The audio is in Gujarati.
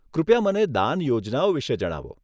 કૃપયા મને દાન યોજનાઓ વિષે જણાવો.